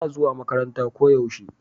tana zuwa makaranta ko yaushe